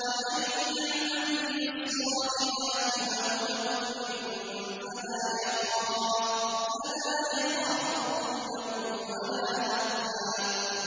وَمَن يَعْمَلْ مِنَ الصَّالِحَاتِ وَهُوَ مُؤْمِنٌ فَلَا يَخَافُ ظُلْمًا وَلَا هَضْمًا